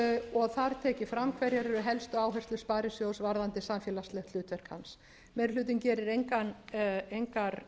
og þar er tekið fram hverjar eru helstu áherslur sparisjóðs varðandi samfélagslegt hlutverk hans meiri hlutinn gerir engar